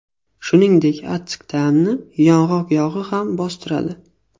Shuningdek, achchiq ta’mni yong‘oq yog‘i ham bostiradi.